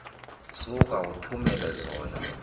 suka uthumele zona